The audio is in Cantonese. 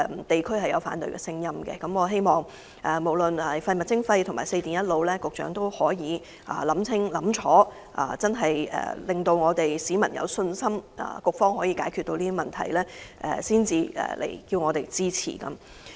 地區存在反對的聲音，因此我希望無論是實施廢物徵費和推動"四電一腦"，局長須先確保市民真的有信心局方可以解決這些問題，然後才向本會提交有關法案。